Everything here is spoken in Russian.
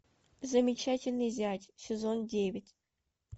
замечательный зять сезон девять